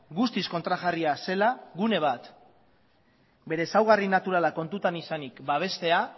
guztiz kontrajarria zela gune bat bere ezaugarri naturala kontutan izanik babestea